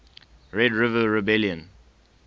red river rebellion